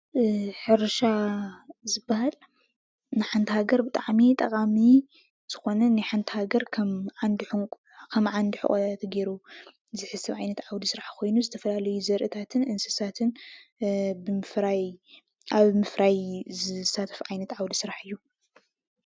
ሕርሻ ዝብሃል ንሓንቲ ሃገር ብጣዕሚ ጠቃሚ ዝኾነ ንሓንቲ ሃገር ከም ዓንዲ ሑቈ ተገይሩ ዝሕሰብ ዓይነት ዓውዲ ስራሕ ኮይኑ ዝተፈላለየ ዘርእታትን እንስታትን ኣብ ምፍራይ ዝሳተፍ ዓይነት ዓውዲ ስራሕ እዩ።